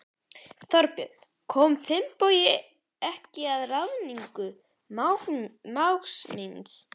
Þorbjörn: Kom Finnbogi ekki að ráðningu mágs síns?